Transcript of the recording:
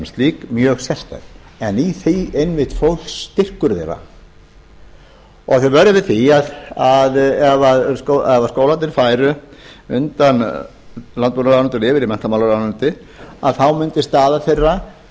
slík mjög sérstæð en í því einmitt fólst styrkur þeirra og við að ef skólarnir færu undan landbúnaðarráðuneytinu yfir í menntamálaráðuneytið þá mundi staða þeirra